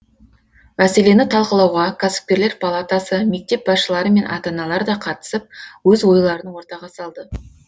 мәселені талқылауға кәсіпкерлер палатасы мектеп басшылары мен ата аналар да қатысып өз ойларын ортаға салды